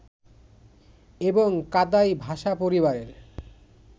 এবং কাদাই ভাষাপরিবারের